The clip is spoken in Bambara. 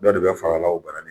Bɛɛ de bɛ fara la o bara nin